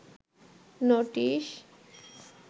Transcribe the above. notice